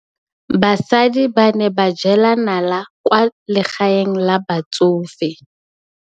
Basadi ba ne ba jela nala kwaa legaeng la batsofe.